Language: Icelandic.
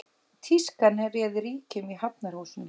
Tískan réði ríkjum í Hafnarhúsinu